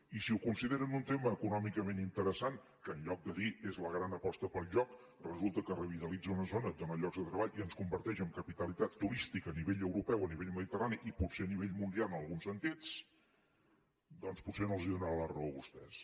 i si ho consideren un tema econòmicament interessant que en lloc de dir és la gran aposta pel joc resulta que revitalitza una zona dóna llocs de treball i ens converteix en capitalitat turística a nivell europeu a nivell mediterrani i potser a nivell mundial en alguns sentits doncs potser no els donarà la raó a vostès